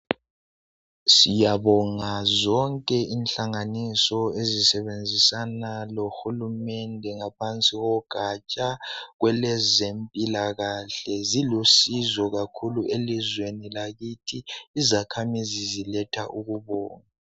siyabonga zonke inhlanganiso ezisebenzisana lohulumende ngphansi ko gatsha lwezempilakahle zilusizo kakhulu eliweni lakithi izakhamizi ziletha ukubonga